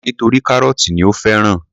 Ó kọ̀ ọ́ nítorí kárọ́tì ni ó fẹ́ràn.